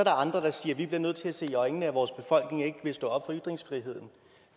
andre der siger at vi bliver nødt til at se i øjnene at vores befolkning ikke vil stå op for ytringsfriheden